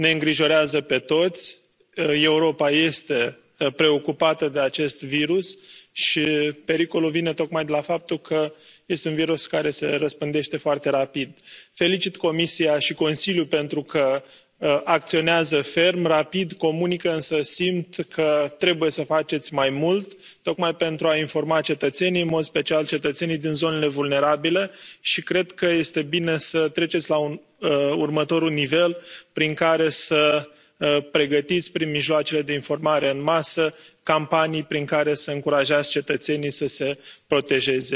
Domnule președinte, doamnă comisară, intervenția mea este foarte scurtă. Într adevăr, ne îngrijorează pe toți, Europa este preocupată de acest virus și pericolul vine tocmai de la faptul că este un virus care se răspândește foarte rapid. Felicit Comisia și Consiliul pentru că acționează ferm, rapid, comunică, însă simt că trebuie să faceți mai mult tocmai pentru a informa cetățenii, în mod special cetățenii din zonele vulnerabile. Cred că este bine să treceți la următorul nivel, prin care să pregătiți, prin mijloacele de informare în masă, campanii prin care să încurajați cetățenii să se protejeze.